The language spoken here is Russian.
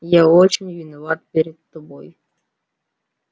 я очень виноват перед тобой